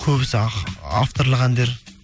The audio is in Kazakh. көбісі авторлық әндер